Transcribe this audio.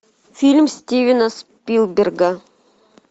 фильм стивена спилберга